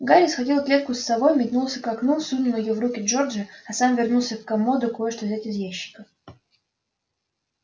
гарри схватил клетку с совой метнулся к окну сунул её в руки джорджа а сам вернулся к комоду кое-что взять из ящика